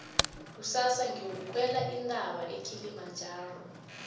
kusasa ngiyokukhwela intaba ekilimajaro